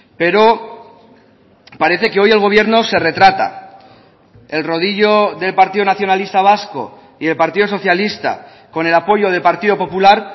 pero parece que hoy el gobierno se retrata el rodillo del partido nacionalista vasco y del partido socialista con el apoyo del partido popular